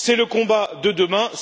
C'est le combat de demain.